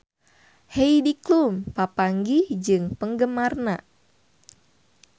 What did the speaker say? Heidi Klum papanggih jeung penggemarna